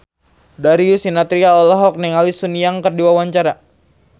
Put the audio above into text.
Darius Sinathrya olohok ningali Sun Yang keur diwawancara